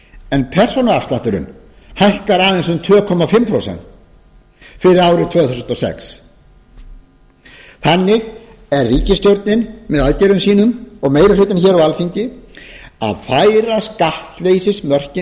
en persónuafslátturinn hækkar aðeins um tvö og hálft prósent fyrir árið tvö þúsund og sex þannig er ríkisstjórnin með aðgerðum sínum og meiri hluta hér á alþingi að færa skattleysismörkin